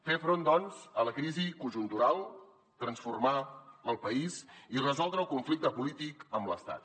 fer front doncs a la crisi conjuntural transformar el país i resoldre el conflicte polític amb l’estat